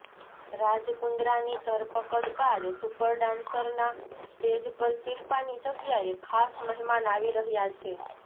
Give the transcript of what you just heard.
રાજ કુંદ્રાની ધરપકડ બાદ સુપર ડાન્સરના સ્ટેજ પર શિલ્પાની જગ્યાએ ખાસ મહેમાન આવી રહ્યા છે